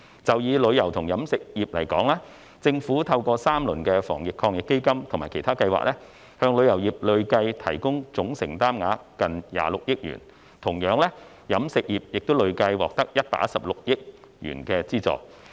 就以旅遊及飲食業來說，政府透過3輪防疫抗疫基金及其他計劃，向旅遊業累計提供總承擔額近26億元，同樣地，飲食業亦累計獲得116億元的資助。